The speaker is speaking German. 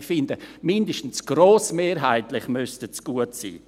Ich finde, mindestens «grossmehrheitlich» müssten sie gut sein.